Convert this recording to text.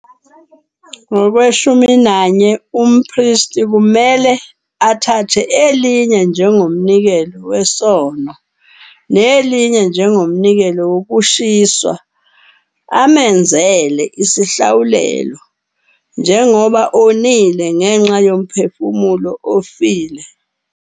11 Umpristi kumelwe athathe elinye njengomnikelo wesono nelinye njengomnikelo wokushiswa amenzele isihlawulelo, njengoba onile ngenxa yomphefumulo ofile.